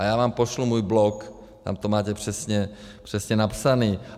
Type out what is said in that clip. A já vám pošlu svůj blog, tam to máte přesně napsáno.